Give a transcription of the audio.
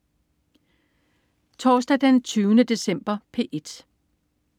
Torsdag den 20. december - P1: